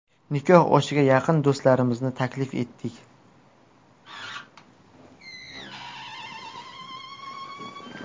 Nikoh oshiga yaqin do‘stlarimizni taklif etdik.